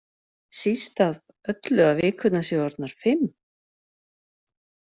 Síst af öllu að vikurnar séu orðnar fimm.